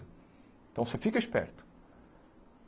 Então você fica esperto.